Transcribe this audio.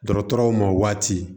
Dɔgɔtɔrɔw ma waati